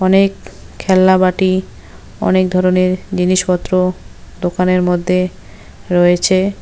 অনেক খেলনা বাটি অনেক ধরনের জিনিসপত্র দোকানের মধ্যে রয়েছে।